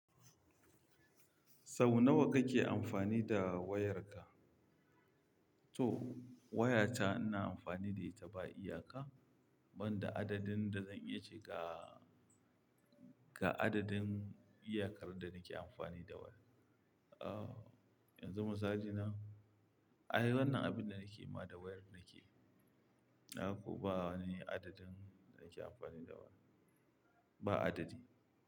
Sau nawa kake amfani da wayarka? To wayata ina amfani da ita ba iyaka, ban da adadin da zan iya cika ga adadin iyakar da nake amfani da waya. Ahh, yanzu mazajina, ay wannan abinda nake ma da wayar nake. Ko bawani adadin da nake amfani da waya. Ba adadi.